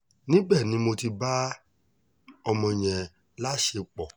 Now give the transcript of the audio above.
níbẹ̀ ni mo ti bá ọmọ yẹn láṣẹpọ̀